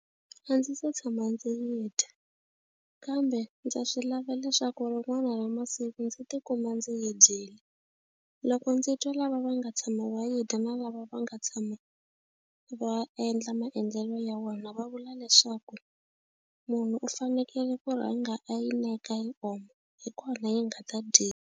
A ndzi se tshama ndzi yi dya kambe ndza swi lava leswaku rin'wana ra masiku ndzi tikuma ndzi yi dyile. Loko ndzi twa lava va nga tshama va yi dya na lava va nga tshama va endla maendlelo ya wona va vula leswaku munhu u fanekele ku rhanga a yi neka yi oma hi kona yi nga ta dyi.